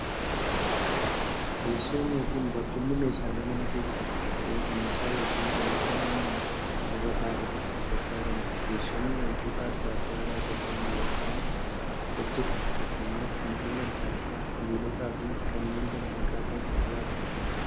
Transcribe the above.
Teessoon yookiin barcumni meeshaalee manaa keessaa tokko ta'ee, meeshaa yookiin wanta namni irra ta'uuf itti gargaaramuudha. Teessumni wantoota adda addaa irraa tolfama yookiin hojjatama. Fakkeenyaf Mukkeen adda addaa, sibilootaafi kanneen kana fakkaatan irraa tolfamu.